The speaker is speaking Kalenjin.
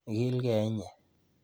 Igilgee inye.